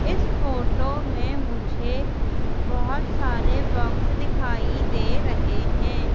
इस फोटो में मुझे बहुत सारे बॉक्स दिखाई दे रहे हैं।